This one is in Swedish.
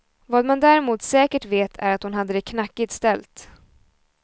Vad man däremot säkert vet är att hon hade det knackigt ställt.